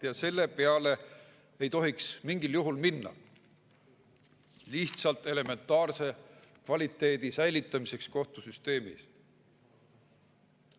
Ja mingil juhul ei tohiks minna lihtsalt elementaarse kvaliteedi säilitamise peale kohtusüsteemis.